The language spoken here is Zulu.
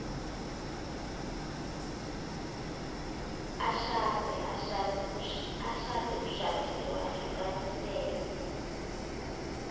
ashade ushadile wehlukanisile